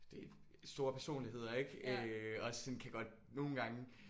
Og det store personligheder ik øh også sådan kan godt nogle gange